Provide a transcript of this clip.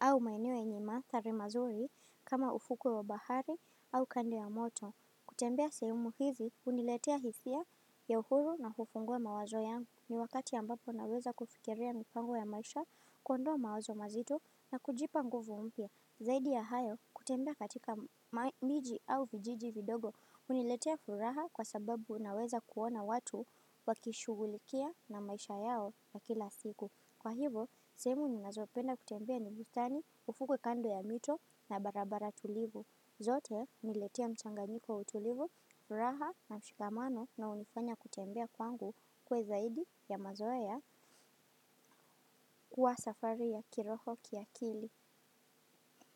au maeneo yenye mandhari nzuri kama ufukwe wa bahari au kando ya mto kutembea sehemu hizi huniletea hisia ya huru na hufungua mawazo yangu ni wakati ambapo naweza kufikiria mipango ya maisha kuondoa mawazo mazito na kujipa nguvu mpya. Zaidi ya hayo, kutembea katika miji au vijiji vidogo, huniletea furaha kwa sababu unaweza kuona watu wakishugulikia na maisha yao na kila siku. Kwa hivyo, sehemu ninazopenda kutembea ni bstani, ufukwe kando ya mito na barabara tulivu. Zote, huniletea mchanga niko utulivu, furaha na mshikamano na hunifanya kutembea kwangu kuwa zaidi ya mazoea kuwa safari ya kiroho kiakili.